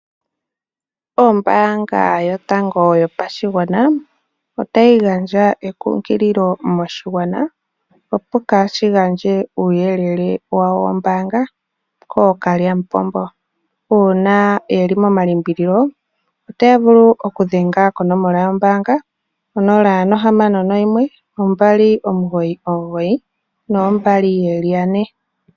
Ombaanga yotango yopashigwana otayi gandja ekunkililo moshigwana opo kaashi gandje uuyelele wawo wombaanga kookalyamupombo. Uuna yeli momalimbililo otaya vulu okudhenga konomola yombaanga 0612992222.